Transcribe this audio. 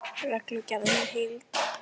Reglugerðin í heild